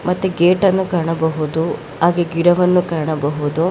ಮತ್ತೆ ಗೇಟನ್ನು ಕಾಣಬಹುದು ಹಾಗೆ ಗಿಡವನ್ನು ಕಾಣಬಹುದು.